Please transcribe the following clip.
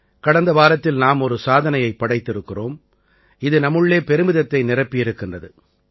கடந்த வாரத்தில் நாம் ஒரு சாதனையைப் படைத்திருக்கிறோம் இது நம்முள்ளே பெருமிதத்தை நிரப்பியிருக்கின்றது